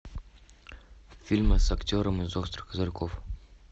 фильмы с актером из острых козырьков